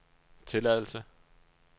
tilladelse